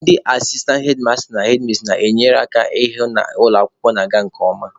Ndị asistantị hedmasta/hedmis na-enyere ha aka ịhụ na ụlọ akwụkwọ na-aga nke ọma.